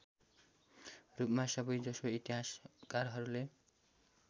रूपमा सबैजसो इतिहासकारहरूले